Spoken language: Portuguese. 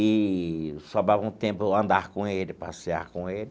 Eee sobrava um tempo andar com ele, passear com ele.